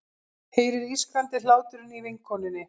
Heyrir ískrandi hláturinn í vinkonunni.